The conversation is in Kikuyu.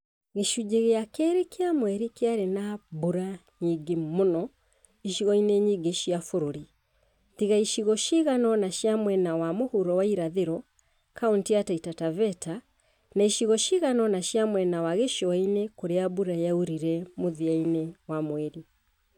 Gĩcunjĩ gĩa kerĩ kĩa mweri kĩarĩ na mbura nyingĩ mũno icigo-inĩ nyingĩ cia bũrũri tiga icigo cigana ũna cia mwena wa mũhuro wa irathĩro (Kauntĩ ya Taita Taveta) na icigo cigana ũna cia mwena wa gĩcũa-inĩ kũrĩa mbura yaurire mũthia-inĩ wa mweri.